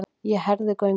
Ég herði gönguna.